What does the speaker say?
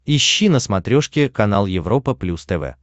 ищи на смотрешке канал европа плюс тв